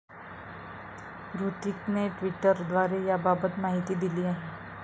हृतिकने ट्विटरद्वारे याबाबत माहिती दिली आहे.